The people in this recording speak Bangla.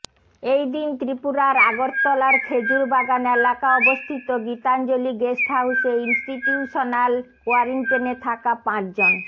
এই দিন ত্রিপুরার আগরতলার খেজুর বাগান এলাকা অবস্থিত গীতাঞ্জলি গেস্ট হাউসে ইনস্টিটিউশনাল কোয়ারেন্টিনে থাকা পাঁচজন